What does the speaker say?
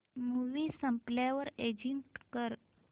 movie संपल्यावर exit कर